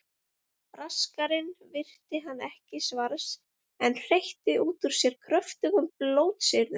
Braskarinn virti hann ekki svars en hreytti út úr sér kröftugum blótsyrðum.